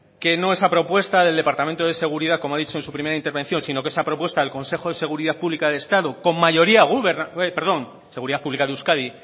que no es a propuesta del departamento de seguridad como ha dicho en su primera intervención sino que esa propuesta el consejo de seguridad pública de euskadi